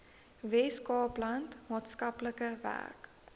weskaapland maatskaplike werk